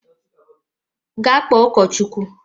Gaa kpọọ ụkọchukwu!